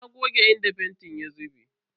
Na goge inda fentin ya zube.